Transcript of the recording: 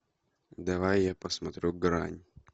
давай я посмотрю грань